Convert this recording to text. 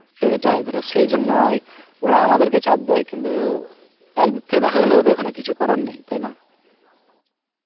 সেটাই. ধরো, সেই জন্যই ওরা আমাদেরকে চাপ দেয়. কিন্তু একদিক থেকে দেখা গেল ওদের ওখানে কিছু করার নেই. তাই না?